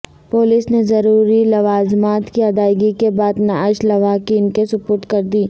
police نے ضروری لوازمات کی ادائیگی کے بعد نعش لواحقین کے سپرد کرد ی